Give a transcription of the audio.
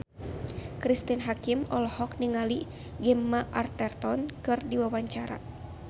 Cristine Hakim olohok ningali Gemma Arterton keur diwawancara